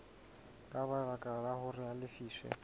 ka baka hore a lefiswe